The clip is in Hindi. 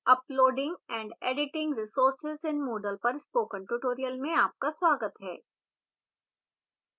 uploading and editing resources in moodle पर spoken tutorial में आपका स्वागत है